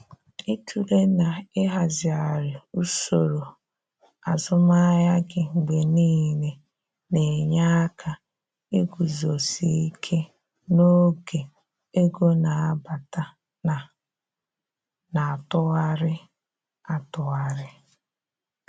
Ịtụle na ịhazighari usoro azụmahịa gị mgbe niile na-enye aka iguzosi ike n'oge ego na-abata na na atụgharị atụgharị.